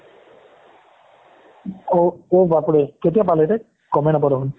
অ' অ' বাপৰে কেতিয়া পালেবে গমেই নাপালো